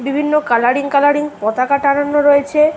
বিভিন্ন colouring colouring পতাকা টাঙানো রয়েছে।